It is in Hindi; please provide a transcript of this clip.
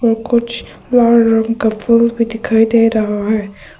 कुछ लाल रंग का फूल भी दिखाई दे रहा है।